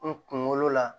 N kunkolo la